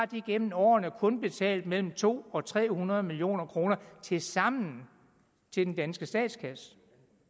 de igennem årene kun har betalt mellem to og tre hundrede million kroner tilsammen til den danske statskasse